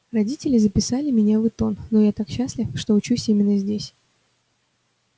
родители записали меня в итон но я так счастлив что учусь именно здесь